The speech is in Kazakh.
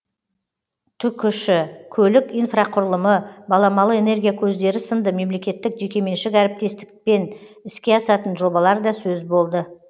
түкш көлік инфрақұрылымы баламалы энергия көздері сынды мемлекеттік жекеменшік әріптестікпен іске асатын жобалар да сөз болды